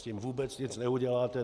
S tím vůbec nic neuděláte.